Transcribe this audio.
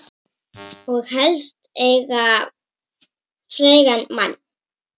Og helst eiga frægan mann.